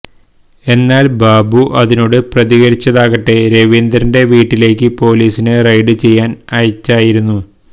എന്നാല് ബാബു അതിനോട് പ്രതികരിച്ചതാകട്ടെ രവീന്ദ്രന്റെ വീട്ടിലേക്ക് പൊലീസിനെ റെയ്ഡ് ചെയ്യാന് അയച്ചായിരുന്നു